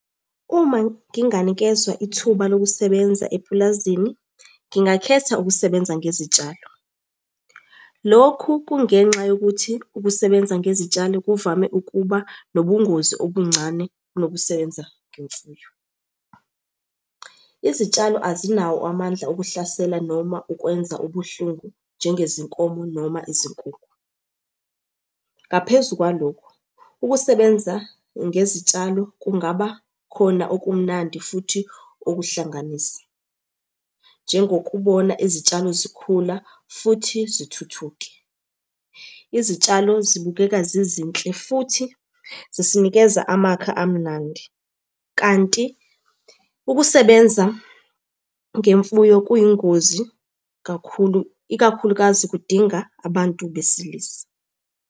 Uma nginganikezwa ithuba lokusebenza epulazini, ngingakhetha ukusebenza ngezitshalo. Lokhu kungenxa yokuthi ukusebenza ngezitshalo kuvame ukuba nobungozi obuncane kunokusebenza ngemfuyo. Izitshalo azinawo amandla okuhlasela noma ukwenza ubuhlungu njengezinkomo noma izinkukhu. Ngaphezu kwalokho, ukusebenza ngezitshalo kungaba khona okumnandi futhi okuhlanganisa, njengokubona izitshalo zikhula, futhi zithuthuke. Izitshalo zibukeka zizinhle futhi zisinikeza amakha amnandi, kanti ukusebenza ngemfuyo kuyingozi kakhulu ikakhulukazi kudinga abantu besilisa.